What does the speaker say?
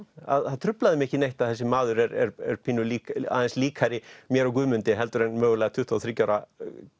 það truflaði mig ekki neitt að þessi maður er aðeins líkari mér og Guðmundi heldur en mögulega tuttugu og þriggja ára